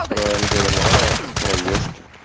про мдма проежки